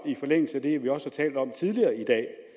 i forlængelse af det vi også har talt om tidligere i dag